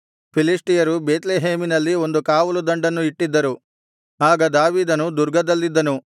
ಫಿಲಿಷ್ಟಿಯರು ಬೇತ್ಲೆಹೇಮಿನಲ್ಲಿ ಒಂದು ಕಾವಲು ದಂಡನ್ನು ಇಟ್ಟಿದ್ದರು ಆಗ ದಾವೀದನು ದುರ್ಗದಲ್ಲಿದ್ದನು